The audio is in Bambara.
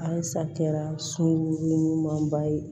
Alisa kɛra sunkuruɲumanba ye